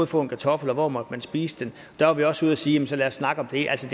få en kartoffel og hvor måtte man spise den der var vi også ude og sige jamen så lad os snakke om det altså